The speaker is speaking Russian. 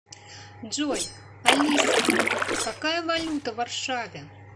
джой алиса какая валюта в варшаве